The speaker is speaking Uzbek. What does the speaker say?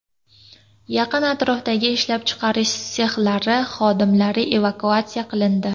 Yaqin atrofdagi ishlab chiqarish sexlari xodimlari evakuatsiya qilindi.